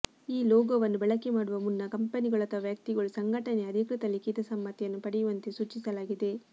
ಈ ಲೋಗೋವನ್ನು ಬಳಕೆ ಮಾಡುವ ಮುನ್ನ ಕಂಪೆನಿಗಳು ಅಥವಾ ವ್ಯಕ್ತಿಗಳು ಸಂಘಟನೆಯ ಅಧಿಕೃತ ಲಿಖಿತ ಸಮ್ಮತಿಯನ್ನು ಪಡೆಯುವಂತೆ ಸೂಚಿಸಲಾಗಿದೆ